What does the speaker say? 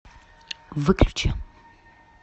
выключи